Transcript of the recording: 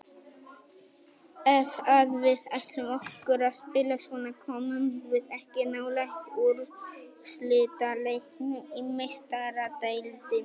Ef að við ætlum okkur að spila svona komumst við ekki nálægt úrslitaleiknum í Meistaradeildinni.